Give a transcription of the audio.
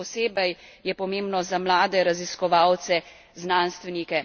Še posebej je pomembno za mlade raziskovalce, znanstvenike.